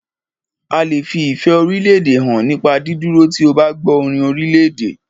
A lè fi ìfẹ́ orílédè hàn nípa dídúró tí o bá gbọ́ orin orílèdè.